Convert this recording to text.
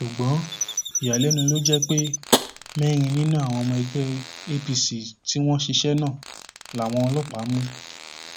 ṣùgbọ́n ìyàlẹnu ló jẹ pé mẹrin nínú àwọn ọmọ ẹgbẹ apc tí wọn ṣiṣẹ náà làwọn ọlọpàá mú